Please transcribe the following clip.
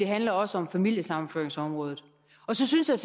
handler også om familiesammenføringsområdet og så synes jeg